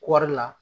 Kɔɔri la